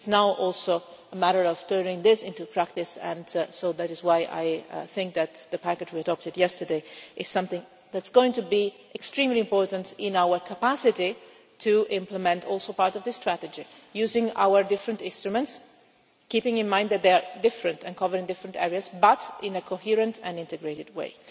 It is now also a matter of turning this into practice, so that is why I think that the package we adopted yesterday is something that is going to be extremely important in our capacity to implement also part of the strategy, using our different instruments, keeping in mind that they are different and covering different areas but in a coherent and integrated way.